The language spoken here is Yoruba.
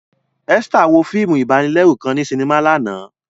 Esther wo fiimu ibanilẹru kan ni sinima làná.